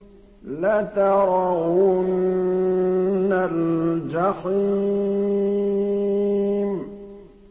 لَتَرَوُنَّ الْجَحِيمَ